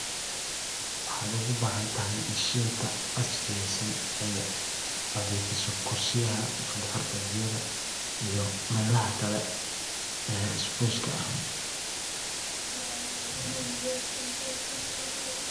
Waxad oga bahanatahay mashinta casriga oo nadhifisa kursiyaha iyo melaha kale oo spaceka ah.